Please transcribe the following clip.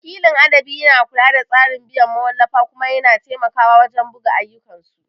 Wakilin adabi yana kula da tsarin biyan mawallafa kuma yana taimakawa wajen buga ayyukansu.